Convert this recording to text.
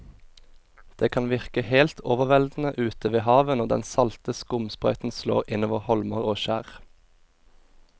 Det kan virke helt overveldende ute ved havet når den salte skumsprøyten slår innover holmer og skjær.